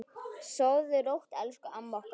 Sofðu rótt elsku amma okkar.